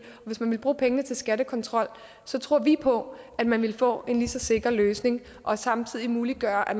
hvis man vil bruge pengene til skattekontrol tror vi på at man vil få en lige så sikker løsning og samtidig muliggøre at